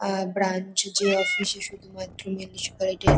আ branch যে office -এ শুধুমাত্র মিউনিসিপ্যালিটি -র।